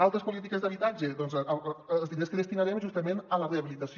altres polítiques d’habitatge doncs els diners que destinarem justament a la rehabilitació